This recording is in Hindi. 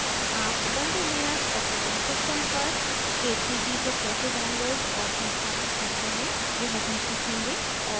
आप ubuntu लिनक्स operating system पर k3b को कैसे download और संस्थापित करते हैं यह भी सीखेंगे और